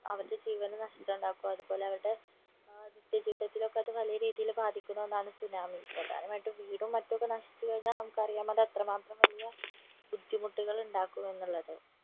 അവരുടെ ജീവന് നഷ്ട്ടം ഉണ്ടാക്കും അതുപോലെ അവരുടെ ഏർ നിത്യ ജീവിതത്തിലൊക്കെ അത് വലിയ രീതിയില് ബാധിക്കുന്ന ഒന്നാണ് സുനാമി പ്രധാനയിട്ടും വീടും മറ്റും ഒക്കെ നശിച് കഴിഞ്ഞ നമുക്ക് അറിയാമല്ലോ എത്ര മാത്രം വലിയ ബുദ്ധിമുട്ടുകൾ ഉണ്ടാക്കും എന്നുള്ളത്